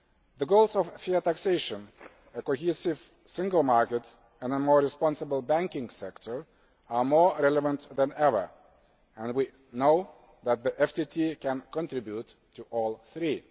The goals of fair taxation, a cohesive single market and a more responsible banking sector are more relevant than ever and we know that the FTT can contribute to all three.